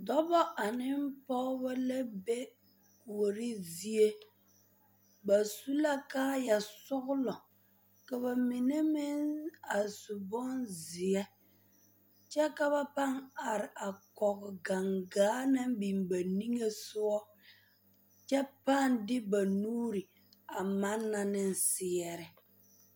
Dɔbɔ ane pɔgeba la be kuorizie ba su la kaaya sɔglɔ ka ba mine meŋ a su bonzeɛ kyɛ ka ba pãã are a kɔge gaŋgaa naŋ biŋ ba niŋe sɔgɔ kyɛ pãã de ba nuuri a manna ne seɛre.